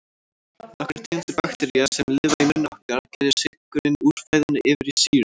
Nokkrar tegundir baktería, sem lifa í munni okkar, gerja sykurinn úr fæðunni yfir í sýru.